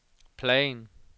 plan